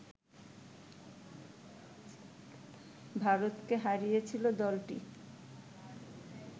ভারতকে হারিয়েছিল দলটি